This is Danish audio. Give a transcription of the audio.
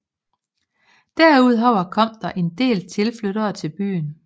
Derudover kom der en del tilflyttere til byen